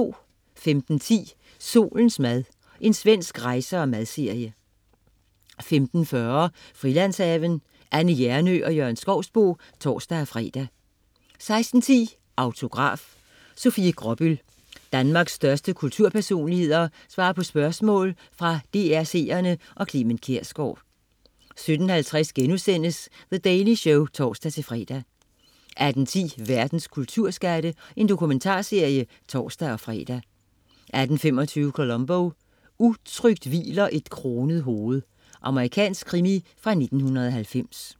15.10 Solens mad. Svensk rejse-/madserie 15.40 Frilandshaven. Anne Hjernøe og Jørgen Skouboe (tors-fre) 16.10 Autograf: Sofie Gråbøl. Danmarks største kulturpersonligheder svarer på spørgsmål fra DR's seere og Clement Kjersgaard 17.50 The Daily Show* (tors-fre) 18.10 Verdens kulturskatte. Dokumentarserie (tors-fre) 18.25 Columbo: Utrygt hviler et kronet hoved. Amerikansk krimi fra 1990